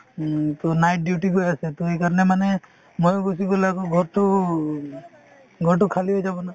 um, to night duty গৈ আছে to সেইকাৰণে মানে ময়ো গুচি গ'লে আকৌ ঘৰতো ঘৰতো খালি হৈ যাব না